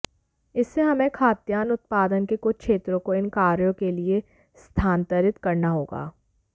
इससे हमें खाद्यान्न उत्पादन के कुछ क्षेत्रों को इन कार्यों के लिए स्थानांतरित करना होगा